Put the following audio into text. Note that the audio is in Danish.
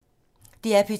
DR P2